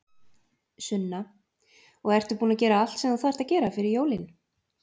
Sunna: Og ertu búin að gera allt sem þú þarft að gera fyrir jólin?